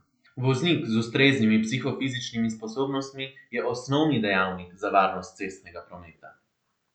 Voznik z ustreznimi psihofizičnimi sposobnostmi je osnovni dejavnik za varnost cestnega prometa.